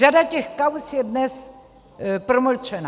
Řada těch kauz je dnes promlčena.